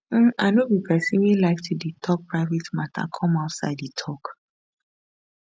um i no be pesin wey like to dey tok private mata come outside e tok